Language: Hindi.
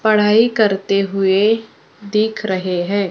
पढ़ाई करते हुए दिख रहे हैं।